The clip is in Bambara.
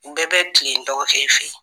Bɛɛ bɛ tilen n dɔgɔkɛ fe yen